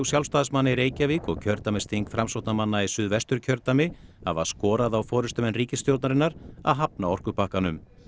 Sjálfstæðismanna í Reykjavík og kjördæmisþing Framsóknarmanna í Suðvesturkjördæmi hafa skorað á forystumenn ríkisstjórnarinnar að hafna orkupakkanum